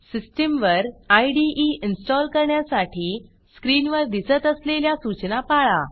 सिस्टीमवर इदे इन्स्टॉल करण्यासाठी स्क्रीनवर दिसत असलेल्या सूचना पाळा